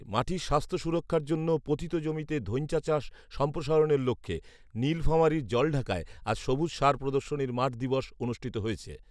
মাটির স্বাস্থ্য সুরক্ষার জন্য পতিত জমিতে ধৈঞ্চা চাষ সম্প্রসারণের লক্ষ্যে নীলফামারীর জলঢাকায় আজ সবুজ সার প্রদর্শনীর মাঠ দিবস অনুষ্ঠিত হয়েছে